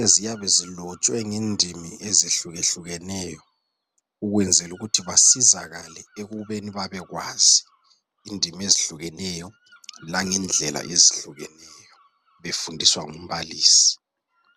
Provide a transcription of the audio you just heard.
eziyabe zilotshwe ngendimi ezehlukeneyo ukwenzela ukuthi basizakale ekubeni babekwazi indimi ezehlukeneyo langendlela ezehlukeneyo befundiswa ngumbalisi.